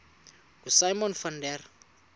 ngosimon van der